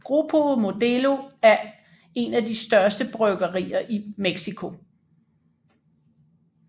Grupo Modelo er en af de største bryggerier i Mexico